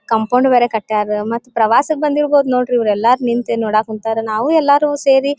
compound ಬೇರೆ ಕಟ್ಟಾರೆ ಮತ್ತೆ ಪ್ರವಾಸಕ್ಕೆ ಬಂದಿರ್ಬೋದು ನೋಡ್ರಿ ಇವರೆಲ್ಲ ನಿಂತು ನೋಡಕುಂತಾರ ನಾವು ಎಲ್ಲ ಸೇರಿ --